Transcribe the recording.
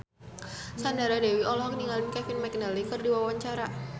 Sandra Dewi olohok ningali Kevin McNally keur diwawancara